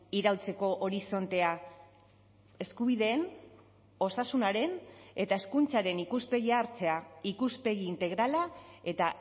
iraultzeko horizontea eskubideen osasunaren eta hezkuntzaren ikuspegia hartzea ikuspegi integrala eta